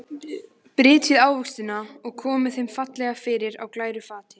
Brytjið ávextina og komið þeim fallega fyrir á glæru fati.